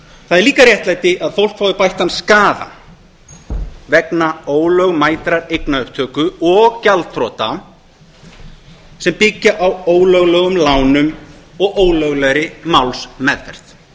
það er líka réttlæti að fólk fái bættan skaða vegna ólögmætrar eignaupptöku og gjaldþrota sem byggja á ólöglegum lánum og ólöglegri málsmeðferð